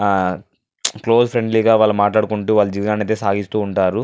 ఆ మ్మ్ close friendly ల వాళ్ళు మాట్లాడుకుంటూ వాళ్ల జీవితానైతె సాగిస్తుంటారు.